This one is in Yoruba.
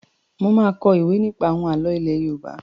Má a kọ ìwé nípa àwọn àlọ́ ilé Yorùbá.